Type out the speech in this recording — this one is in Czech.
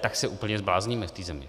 tak se úplně zblázníme v té zemi.